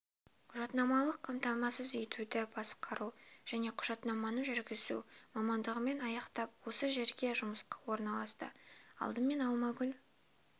құжаттамалық қамтамасыз етуді басқару және құжаттаманы жүргізу мамандығымен аяқтап осы жерге жұмысқа орналасты алдымен алмагүл